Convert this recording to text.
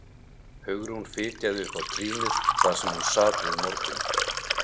Hugrún fitjaði upp á trýnið þar sem hún sat við morgun